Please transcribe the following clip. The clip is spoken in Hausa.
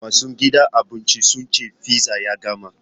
Masu gidan abincin sun ce fizza ya gama.